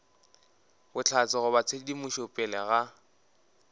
bohlatse goba tshedimošo pele ga